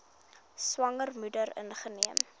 swanger moeder ingeneem